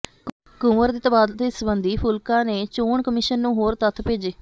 ਕੁੰਵਰ ਦੇ ਤਬਾਦਲੇ ਸਬੰਧੀ ਫੂਲਕਾ ਨੇ ਚੋਣ ਕਮਿਸ਼ਨ ਨੂੰ ਹੋਰ ਤੱਥ ਭੇਜੇ